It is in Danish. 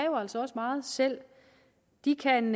meget selv de kan